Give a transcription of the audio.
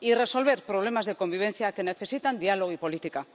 y resolver problemas de convivencia que necesitan diálogo y política.